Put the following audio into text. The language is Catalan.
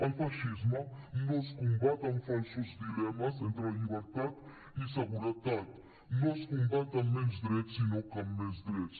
el feixisme no es combat amb falsos dilemes entre la llibertat i la seguretat no es combat amb menys drets sinó amb més drets